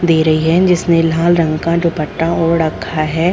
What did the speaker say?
दे रही है जिसने लाल रंग का दुपट्टा ओढ़ रखा है।